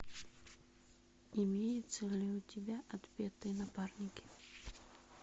имеется ли у тебя отпетые напарники